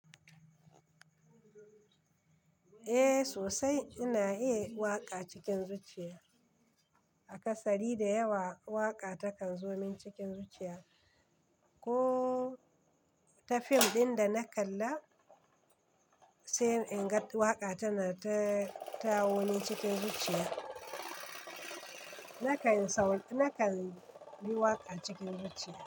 Eh sosai ina iya waƙa cikin zuciya. A kasari da yawa waƙa takan zo min cikin zuciya. Ko ta fim ɗin da na kalla, sai in ga waƙa tana ta ta wuni cikin zuciya. Nakan sau Nakan yi waƙa cikin zuciya.